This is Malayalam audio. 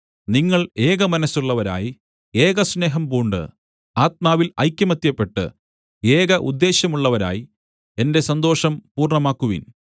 നിങ്ങൾ ഏകമനസ്സുള്ളവരായി ഏകസ്നേഹം പൂണ്ട് ആത്മാവിൽ ഐകമത്യപ്പെട്ട് ഏക ഉദ്ദേശ്യമുള്ളവരായി എന്റെ സന്തോഷം പൂർണ്ണമാക്കുവിൻ